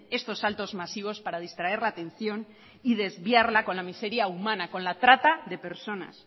estos saltos masivos para distraer la atención y desviarla con la miseria humana con la trata de personas